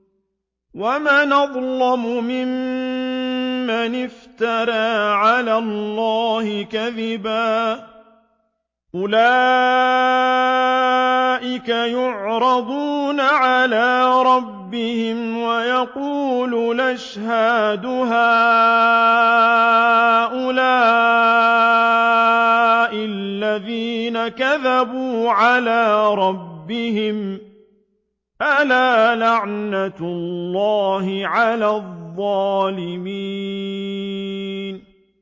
وَمَنْ أَظْلَمُ مِمَّنِ افْتَرَىٰ عَلَى اللَّهِ كَذِبًا ۚ أُولَٰئِكَ يُعْرَضُونَ عَلَىٰ رَبِّهِمْ وَيَقُولُ الْأَشْهَادُ هَٰؤُلَاءِ الَّذِينَ كَذَبُوا عَلَىٰ رَبِّهِمْ ۚ أَلَا لَعْنَةُ اللَّهِ عَلَى الظَّالِمِينَ